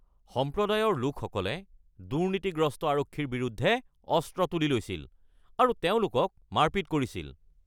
সম্প্ৰদায়ৰ লোকসকলে দুৰ্নীতিগ্ৰস্ত আৰক্ষীৰ বিৰুদ্ধে অস্ত্ৰ তুলি লৈছিল আৰু তেওঁলোকক মাৰপিট কৰিছিল।